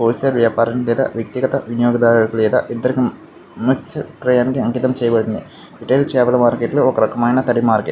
Wholesale వ్యాపారుడు లేదా వ్యక్తిగత వినియోగదారు లేదా ఇద్దరికి మస్త్య్ అంకితం చేయబడింది. రిటైల్ చేపల మార్కెట్ ఒక రకమైనది కలిగే.